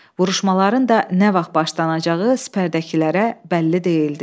Vuruşmaların da nə vaxt başlanacağı sipərdəkilərə bəlli deyildi.